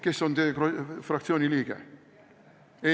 Kes on teie fraktsiooni liige?